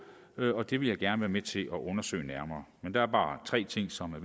og det vil jeg gerne være med til at undersøge nærmere men der er bare tre ting som er